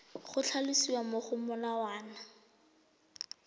go tlhalosiwa mo go molawana